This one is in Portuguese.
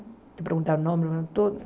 Ele perguntava o nome, o nome todo.